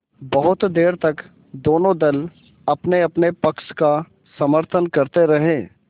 बहुत देर तक दोनों दल अपनेअपने पक्ष का समर्थन करते रहे